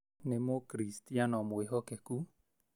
Nĩ mũkiricitiano mwĩhokeku